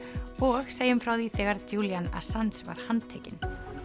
og segjum frá því þegar Julian Assange var handtekinn